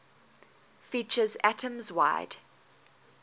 features atoms wide